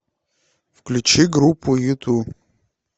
включи группу юту